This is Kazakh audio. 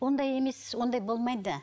ондай емес ондай болмайды